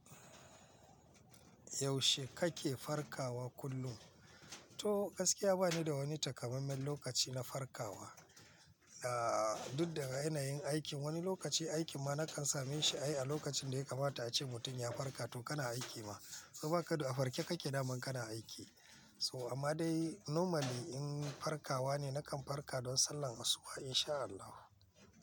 Yaushe kake farkawa kullum? To gaskiya bani da wani takamaimen lokaci na farkawa. Ahhh, duk daga yanayin aikin wani lokaci aiki ma na kan same shi ai a lokacin da ya kamata ace mutum ya farka to kana aiki ma. To ba kaɗo a farke kake da man kana aiki. So amma dai normally in farkawa ne nakan farka don sallar asuba in sha Allah.